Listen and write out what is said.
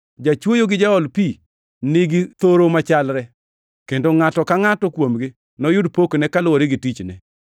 Jachwoyo gi jaol pi nigi thoro machalre, kendo ngʼato ka ngʼato kuomgi noyud pokne kaluwore gi tichne.